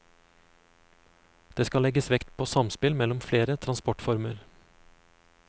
Det skal legges vekt på samspill mellom flere transportformer.